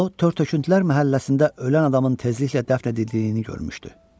O tör-töküntülər məhəlləsində ölən adamın tezliklə dəfn edildiyini görmüşdü.